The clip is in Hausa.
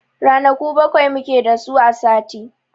Ranaku bakwai mu ke da su a sati.